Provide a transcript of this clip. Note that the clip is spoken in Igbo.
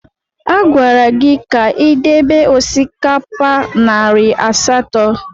A gwara gị ka ị debe osikapa narị asatọ!